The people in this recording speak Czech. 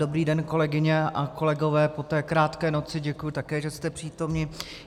Dobrý den, kolegyně a kolegové, po té krátké noci, děkuji také, že jste přítomni.